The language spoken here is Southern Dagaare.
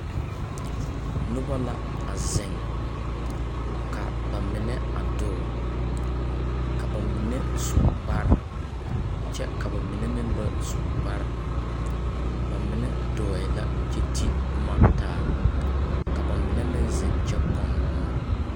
Noba la a zeŋ. Ka ba menɛ a dɔɔ, ka ba menɛ su kparr kyɛ ka ba mine meŋ ba su kparr. Ba menɛ dɔɔɛ la kyɛ ti boma taa, ka ba menɛ meŋ zeŋ kyɛ pɔn bomɔ